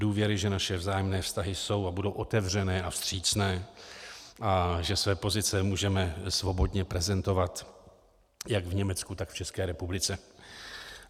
Důvěry, že naše vzájemné vztahy jsou a budou otevřené a vstřícné a že své pozice můžeme svobodně prezentovat jak v Německu, tak v České republice.